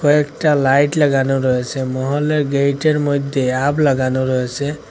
কয়েকটা লাইট লাগানো রয়েসে মহলের গেইটের মধ্যে অ্যাপ লাগানো রয়েসে।